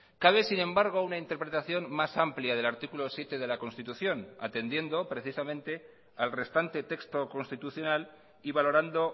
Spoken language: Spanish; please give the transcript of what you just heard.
cabe sin embargo una interpretación más amplia del artículo siete de la constitución atendiendo precisamente al restante texto constitucional y valorando